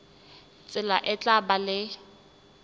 tsela e tla ba le